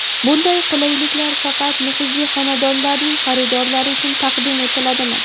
Bunday qulayliklar faqat nufuzli xonadonlarning xaridorlari uchun taqdim etiladimi?